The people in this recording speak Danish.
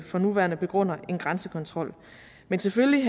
for nuværende begrunder en grænsekontrol men selvfølgelig